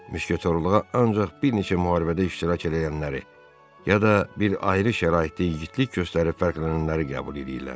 Müşketyorluğa ancaq bir neçə müharibədə iştirak eləyənləri, ya da bir ayrı şəraitdə igidlik göstərib fərqlənənləri qəbul eləyirlər.